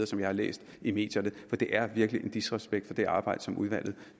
som jeg har læst i medierne for det er virkelig en disrespekt for det arbejde som udvalget